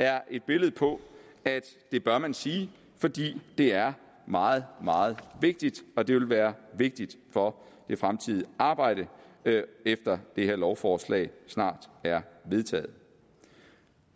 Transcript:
er et billede på at det bør man sige fordi det er meget meget vigtigt og det vil være vigtigt for det fremtidige arbejde efter at det her lovforslag snart er vedtaget